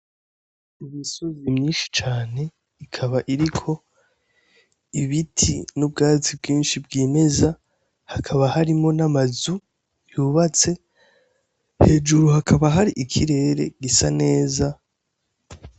Imisozi myinshi cane ikaba iriko ibiti vyinshi n' ubwatsi bwinshi bwimeza hakaba harimwo n' amazu yubatse hejuru hakaba hari ikirere gisa neza.